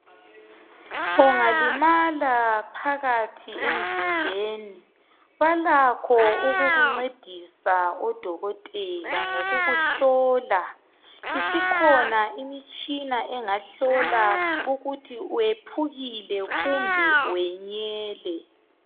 Ungalimala phakathi emzimbeni balakho ukukuncedisa odokotela ngokukuhlola isikhona imitshina engahlola ukuthi wephukile kumbe wenyele.